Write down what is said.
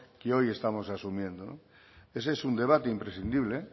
que hoy estamos asumiendo ese es un debate imprescindible